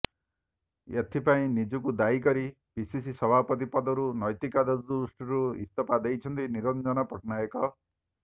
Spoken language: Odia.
ଏଥିପାଇଁ ନିଜକୁ ଦାୟୀ କରି ପିସିସି ସଭାପତି ପଦରୁ ନ୘ତିକତା ଦୃଷ୍ଟିରୁ ଇସ୍ତଫା ଦେଇଛନ୍ତି ନିରଞ୍ଜନ ପଟ୍ଟନାୟକ